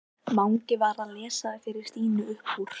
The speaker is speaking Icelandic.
Mangi var að lesa fyrir Stínu upp úr